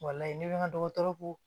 ni bɛ n ka dɔgɔtɔrɔ ko